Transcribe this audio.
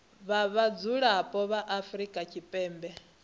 vha vhadzulapo vha afrika tshipembe